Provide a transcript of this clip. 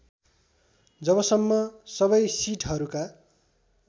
जबसम्म सबै सिटहरूका